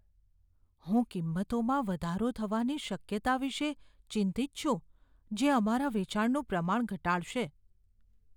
હું કિંમતોમાં વધારો થવાની શક્યતા વિશે ચિંતિત છું, જે અમારા વેચાણનું પ્રમાણ ઘટાડશે.